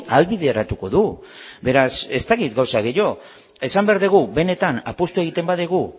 ahalbideratuko dugu beraz ez dakit gauza gehiago esan behar dugu benetan apustua egiten badugu